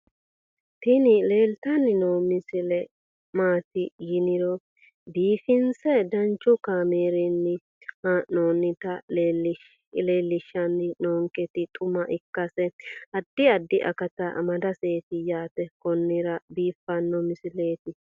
tini leeltanni noo misile maaati yiniro biifinse danchu kaamerinni haa'noonnita leellishshanni nonketi xuma ikkase addi addi akata amadaseeti yaate konnira biiffanno misileeti tini